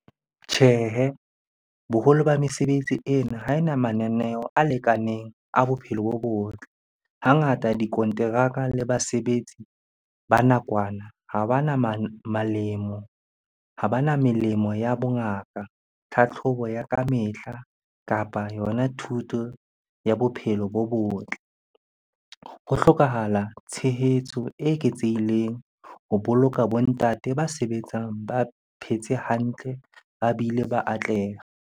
Tjhehe, boholo ba mesebetsi ena ha e na mananeo a lekaneng a bophelo bo botle. Hangata dikonteraka le basebetsi ba nakwana ha bana ha bana melemo ya bongaka, tlhatlhobo ya kamehla, kapa yona thuto ya bophelo bo botle. Ho hlokahala tshehetso e eketsehileng ho boloka bo ntate ba sebetsang ba phetse hantle, ba bile ba atleha.